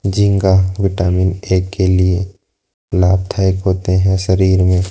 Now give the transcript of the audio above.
झींगा vitamin A के लिए लाभदायक होते हैं शरीर में--